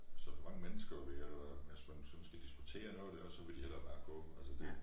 Hvis der for mange mennesker ved eller hvis man sådan skal diskutere noget dér så vil de hellere bare gå